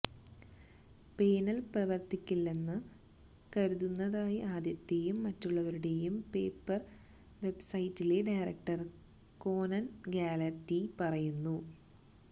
panel പ്രവർത്തിക്കില്ലെന്ന് കരുതുന്നതായി ആദ്യത്തേയും മറ്റുള്ളവരുടെയും പേപ്പർ വെബ്സൈറ്റിലെ ഡയറക്ടർ കോനൻ ഗാലറ്റി പറയുന്നു